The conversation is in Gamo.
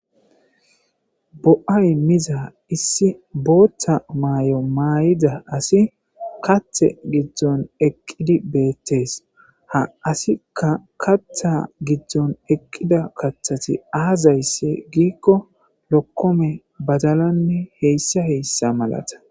Bo'ay miza issi booththa maay'o maay'ida asi kathe gidzdzon eqqidi beettees ha asikka katha gidzdzon eqqida kathati aazayssi giikko lokkome badalanne heyssa heyssa malata.